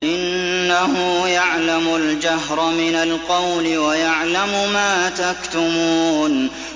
إِنَّهُ يَعْلَمُ الْجَهْرَ مِنَ الْقَوْلِ وَيَعْلَمُ مَا تَكْتُمُونَ